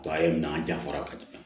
A ye nan janfa ka di